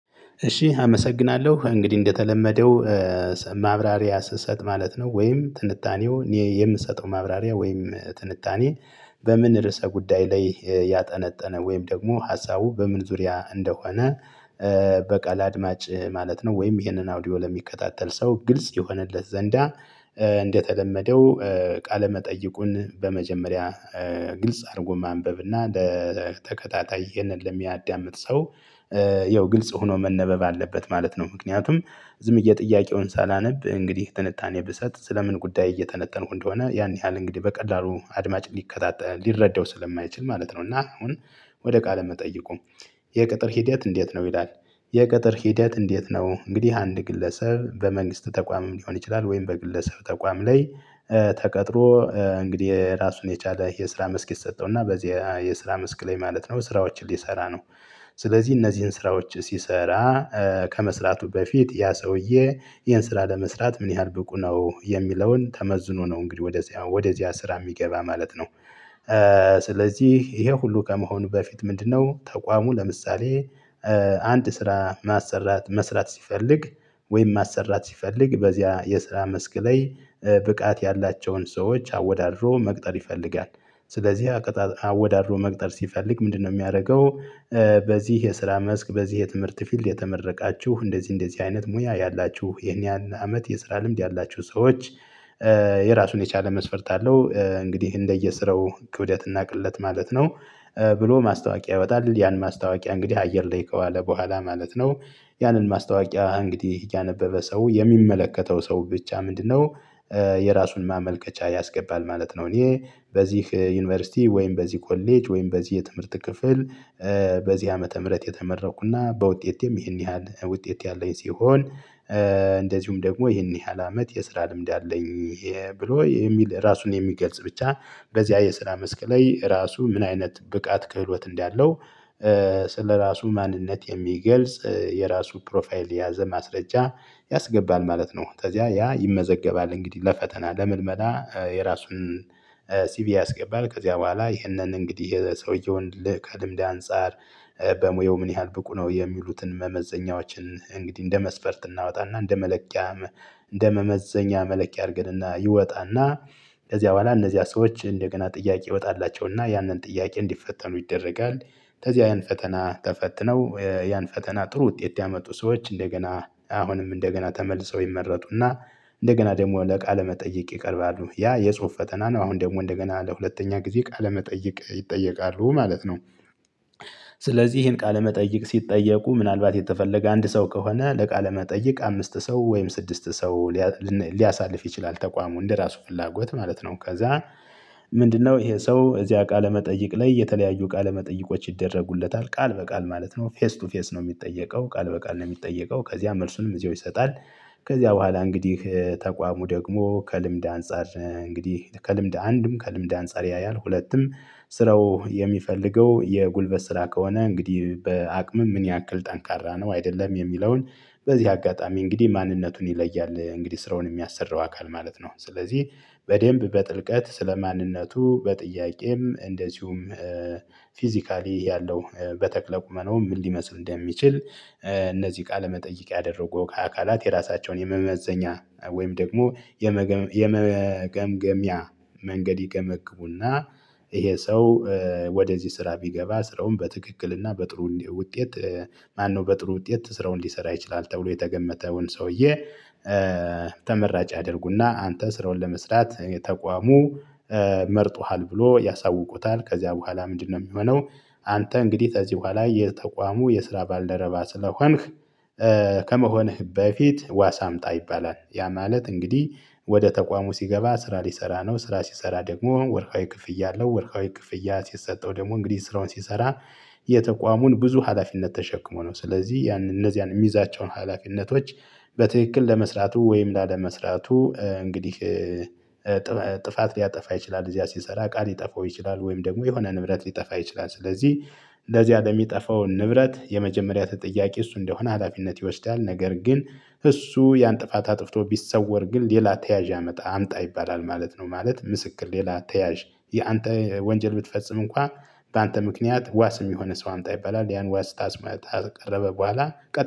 እሺ አመሰግናለሁ እንግዲህ እንደተለመደው ማብራሪያ ስሰጥ ማለት ነው ወይም ትንታኔው እኔ የምንሰጠው ማብራሪያ ወይም ትንታኔ። በምን ርዕሰ ጉዳይ ላይ ያጠነጠነ ወይም ደግሞ ሀሳቡ በምን ዙሪያ እንደሆነ። በቃል አድማጭ ማለት ነው ወይም ይሄንን አውዲዮ ለሚከታተል ሰው ግልጽ ይሆንለት ዘንዳ። እንደተለመደው ቃለመጠይቁን በመጀመሪያ ግልጽ አርጎ ማንበብ እና በተከታታይ ይሄንን ለሚያዳምጥ ሰው። ያው ግልጽ ሆኖ መነበብ አለበት ማለት ነው። ምክንያቱም ዝም ብዬ ጥያቄውን ሳላነብ እንግዲህ ትንታኔ ብሰጥ ስለምን ጉዳይ እየተነተንኩ እንደሆነ ያን ያህል እንግዲህ በቀላሉ አድማጭ ሊከታተ ሊረዳው ስለማይችል ማለት ነው። እና አሁን ወደ ቃል መጠይቁ። የቅጥር ሂደት እንዴት ነው ይላል? የቅጥር ሂደት እንዴት ነው? እንግዲህ አንድ ግለሰብ በመንግስት ተቋምም ሊሆን ይችላል ወይም በግለሰብ ተቋም ላይ። ተቀጥሮ እንግዲህ ራሱን የቻለ የስራ መስክ ይሰጠው እና በዚያ የስራ መስክ ላይ ማለት ነው ስራዎችን ሊሰራ ነው። ስለዚህ እነዚህን ስራዎች ሲሰራ ከመስራቱ በፊት ያ ሰውዬ ይሄን ስራ ለመስራት ምን ያህል ብቁ ነው የሚለውን ተመዝኖ ነው እንግዲህ ወደዚያ ወደዚያ ስራ የሚገባ ማለት ነው። ስለዚህ ይሄ ሁሉ ከመሆኑ በፊት ምንድነው ተቋሙ ለምሳሌ? አንድ ስራ ማሰራት መስራት ሲፈልግ ወይም ማሰራት ሲፈልግ በዚያ የስራ መስክ ላይ ብቃት ያላቸውን ሰዎች አወዳድሮ መቅጠር ይፈልጋል ስለዚህ አቅጣ አወዳድሮ መቅጠር ሲፈልግ ምንድነው የሚያረገው? በዚህ የስራ መስክ በዚህ የትምህርት ፊልድ የተመረቃችሁ እንደዚህ እንደዚህ አይነት ሙያ ያላችሁ ይሄን ያል አመት የስራ ልምድ ያላችሁ ሰዎች። የራሱን የቻለ መስፈርት አለው እንግዲህ እንደየስራው ክብደት እና ቅለት ማለት ነው። ብሎ ማስታወቂያ ይወጣል ያን ማስታወቂያ እንግዲህ አየር ላይ ከዋለ በኋላ ማለት ነው። ያንን ማስታወቂያ እንግዲህ ያነበበ ሰው የሚመለከተው ሰው ብቻ ምንድነው? የራሱን ማመልከቻ ያስገባል ማለት ነው። እኔ በዚህ ዩኒቨርስቲ ወይም በዚህ ኮሌጅ ወይም በዚህ የትምህርት ክፍል። በዚህ ዓመተ ምህረት የተመረኩና በውጤቴም ይህን ያህል ውጤት ያለኝ ሲሆን። እንደዚሁም ደግሞ ይህን ያህል አመት የስራ ልምድ አለኝ። ብሎ የሚል ራሱን የሚገልጽ ብቻ በዚያ የስራ መስክ ላይ እራሱ ምን አይነት ብቃት ክህሎት እንዳለው። ስለራሱ ማንነት የሚገልጽ የራሱ ፕሮፋይል የያዘ ማስረጃ። ያስገባል ማለት ነው። ተዚያ ያ ይመዘገባል እንግዲህ ለፈተና ለምልመላ የራሱን ሲቪ ያስገባል ከዚያ በኋላ ይህንን እንግዲህ የሰውየውን ል ከልምድ አንፃር። በሙያው ምን ያህል ብቁ ነው የሚሉትን መመዘኛዎችን እንግዲህ እንደ መስፈርት እናወጣና እንደ መለኪያም። እንደመመዘኛ መለኪያ አርገንና ይወጣና። ከዚያ በኋላ እነዚያ ሰዎች እንደገና ጥያቄ ይወጣላቸውና ያንን ጥያቄ እንዲፈተኑ ይደረጋል። ከዚያ ያን ፈተና ተፈትነው ያን ፈተና ጥሩ ውጤት ያመጡ ሰዎች እንደገና አሁንም እንደገና ተመልሰው ይመረጡና። እንደገና ደግሞ ለቃለ መጠየቅ ይቀርባሉ ያ የጽሁፍ ፈተና ነው አሁን ደግሞ እንደገና ለሁለተኛ ጊዜ ቃለመጠየቅ ይጠየቃሉ ማለት ነው። ይሄን ቃለመጠይቅ ሲጠየቁ ምናልባት የተፈለገ አንድ ሰው ከሆነ ለቃለ መጠይቅ አምስት ሰው ወይም ስድስት ሰው። ሊያሳልፍ ይችላል ተቋሙ እንደራሱ ፍላጎት ማለት ነው። ከዛ። ምንድነው ይሄ ሰው እዚያ ቃለመጠይቅ ላይ የተለያዩ ቃለመጠይቆች ይደረጉለታል ቃል በቃል ማለት ነው ፌስ ቱ ፌስ ነው የሚጠየቀው ቃል በቃል ነው የሚጠየቀው ከዚያ መልሱንም እዚያው ይሰጣል። ከዚያ በኋላ እንግዲህ ተቋሙ ደግሞ ከልምድ አንፃር እንግዲህ ከልምድ አንድም ከልምድ አንፃር ያያል ሁለትም ስራው የሚፈልገው የጉልበት ስራ ከሆነ እንግዲህ በአቅምም ምን ያክል ጠንካራ ነው አይደለም የሚለውን። በዚህ አጋጣሚ እንግዲህ ማንነቱን ይለያል እንግዲህ ስራውን የሚያሰራው አካል ማለት ነው። ስለዚህ በደንብ በጥልቀት ስለ ማንነቱ በጥያቄም እንደዚሁም ፊዚካሊ ያለው በተክለ ቁመናው ምን ሊመስል እንደሚችል። ቃለ መጠይቅ ያደረገው ከአካላት የራሳቸውን የመመዘኛ ወይም ደግሞ የመገምገሚያ መንገድ ይገመግሙና ይሄ ሰው። ወደዚህ ስራ ቢገባ ስራውን በትክክልና በጥሩ ውጤት። ማነው በጥሩ ውጤት ስራውን ሊሰራ ይችላል ተብሎ የተገመተውን ሰውዬ። ተመራጭ ያደርጉና አንተ ስራውን ለመስራት የተቋሙ መርጦሃል ብሎ ያሳውቁታል ከዚያ በኋላ ምንድነው የሚሆነው? አንተ እንግዲህ ከዚህ በኋላ የተቋሙ የስራ ባልደረባ ስለሆንክ። ከመሆንህ በፊት ዋስ አምጣ ይባላል። ያ ማለት እንግዲህ ወደ ተቋሙ ሲገባ ስራ ሊሰራ ነው። ስራ ሲሰራ ደግሞ ወርሃዊ ክፍያ አለው ወርሃዊ ክፍያ ሲሰጠው ደግሞ እንግዲህ ስራውን ሲሰራ። የተቋሙን ብዙ ሀላፊነት ተሸክሞ ነው ስለዚህ ያን እነዚያን የሚዛቸውን ሀላፊነቶች። በትክክል ለመስራቱ ወይም ላለመስራቱ እንግዲህ። ጥፋት ሊያጠፋ ይችላል እዚያ ሲሰራ ቃል ሊጠፋው ይችላል። ወይም ደግሞ የሆነ ንብረት ሊጠፋ ይችላል። ስለዚህ እንደዚያ ለሚጠፋው ንብረት የመጀመሪያ ተጠያቂ እሱ እንደሆነ ሀላፊነት ይወስዳል። ነገር ግን እሱ ያን ጥፋት አጥፍቶ ቢሰወር ግን ሌላ ተያዥ ያመጣ አምጣ ይባላል ማለት ነው። ማለት ምስክር ሌላ ተያዥ ያንተ ወንጀል ብትፈጽም እንኳ በአንተ ምክንያት ዋስ ሚሆንህ ሰው አምጣ ይባላል ያን ዋስ ታስመ ታቀረበ በኋላ።